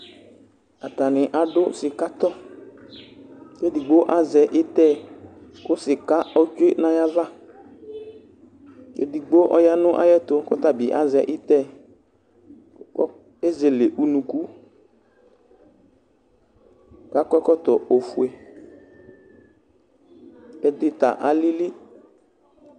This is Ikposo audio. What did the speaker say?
Atanɩ adʋ sɩkatɔ: kedigbo azɛ ɩtɛ kʋ sɩka otsue nayava; edigbo ɔya nayɛtʋ kɔtabɩ azɛ ɩtɛ, kʋ tezele unuku, kʋakɔ ɛkɔtɔ ofue, ɛdɩ ta alili